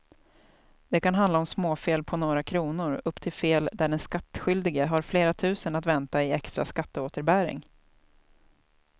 Det kan handla om småfel på några kronor upp till fel där den skattskyldige har flera tusen att vänta i extra skatteåterbäring.